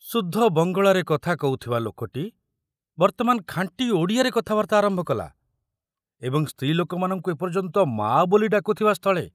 ଶୁଦ୍ଧ ବଙ୍ଗଳାରେ କଥା କହୁଥିବା ଲୋକଟି ବର୍ତ୍ତମାନ ଖାଣ୍ଟି ଓଡ଼ିଆରେ କଥାବାର୍ତ୍ତା ଆରମ୍ଭ କଲା ଏବଂ ସ୍ତ୍ରୀ ଲୋକମାନଙ୍କୁ ଏ ପର୍ଯ୍ୟନ୍ତ ମା ବୋଲି ଡାକୁଥିବା ସ୍ଥଳେ